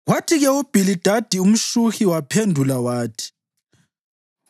Kwathi-ke uBhilidadi umShuhi waphendula wathi: